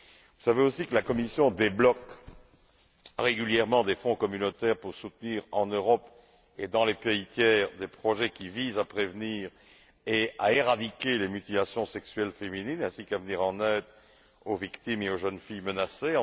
Vous savez également que la Commission débloque régulièrement des fonds communautaires pour soutenir en Europe et dans les pays tiers des projets qui visent à prévenir et à éradiquer les mutilations sexuelles féminines ainsi qu'à venir en aide aux victimes et aux jeunes filles menacées.